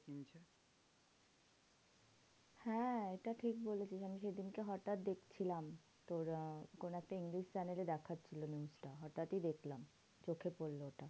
হ্যাঁ এটা ঠিক বলেছিস আমি সেদিনকে হটাৎ দেখছিলাম। তোরা কোনো একটা ইংলিশ channel এ দেখাচ্ছিল news টা। হটাৎই দেখলাম চোখে পড়লো এটা।